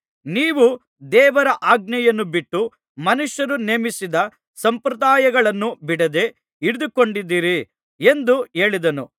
ನೀವು ದೇವರ ಆಜ್ಞೆಯನ್ನು ಬಿಟ್ಟು ಮನುಷ್ಯರು ನೇಮಿಸಿದ ಸಂಪ್ರದಾಯಗಳನ್ನು ಬಿಡದೆ ಹಿಡಿದುಕೊಂಡಿದ್ದೀರಿ ಎಂದು ಹೇಳಿದನು